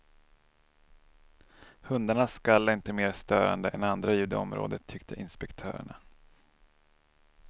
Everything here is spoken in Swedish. Hundarnas skall är inte mer störande än andra ljud i området, tyckte inspektörerna.